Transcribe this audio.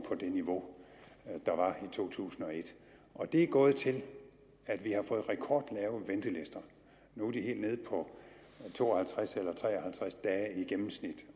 på det niveau der var i to tusind og et og det er gået til at vi har fået rekordlave ventelister nu er de helt nede på to og halvtreds eller tre og halvtreds dage i gennemsnit